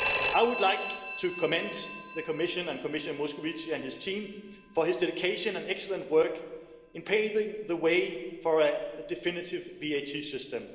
I would like to commend the Commission, and Commissioner Moscovici and his team, for their dedication and excellent work in paving the way for a definitive VAT system.